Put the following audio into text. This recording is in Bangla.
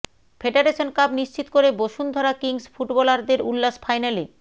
ফেডারেশন কাপ নিশ্চিত করে বসুন্ধরা কিংস ফুটবলারদের উল্লাস ফাইনালে